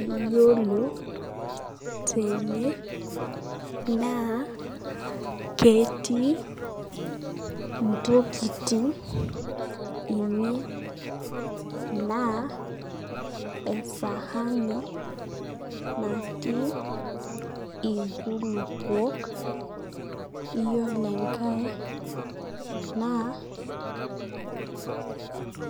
Iyiolo tene naa ketii intokitin ene naa esaani naatii inkulupuok. Iyiolo enkae